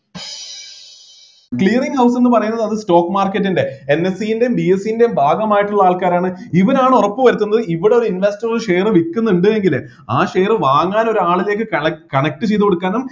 out എന്നു പറയുന്നത് അത് stock market ൻ്റെ NSE ൻ്റെയും BSE ൻ്റെയും ഭാഗമായിട്ടുള്ള ആൾക്കാരാണ് ഇവനാണ് ഉറപ്പുവരുത്തുന്നത് ഇവിടെ ഒരു investor share വിൽക്കുന്നുണ്ട് എങ്കില് ആ share വാങ്ങാനും ഒരാളിലേക്ക് കല connect ചെയ്‌തുകൊടുക്കാനും